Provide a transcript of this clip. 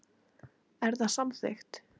Er það samþykkt.